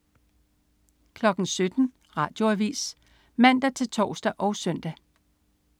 17.00 Radioavis (man-tors og søn)